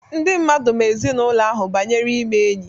Ndị mmadụ ma ezinaụlọ ahụ banyere ime enyi.